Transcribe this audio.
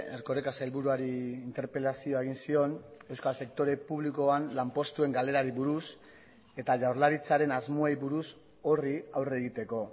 erkoreka sailburuari interpelazioa egin zion euskal sektore publikoan lanpostuen galerari buruz eta jaurlaritzaren asmoei buruz horri aurre egiteko